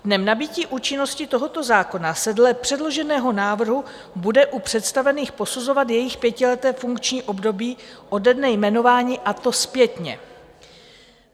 Dnem nabytí účinnosti tohoto zákona se dle předloženého návrhu bude u představených posuzovat jejich pětileté funkční období ode dne jmenování, a to zpětně.